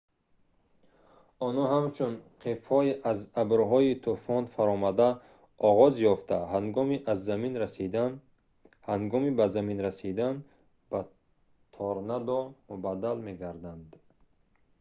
онҳо ҳамчун қифҳои аз абрҳои тӯфон фаромада оғоз ёфта ҳангоми ба замин расидан ба «торнадо» мубаддал мегарданд